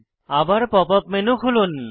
আবার pop up menu খুলুন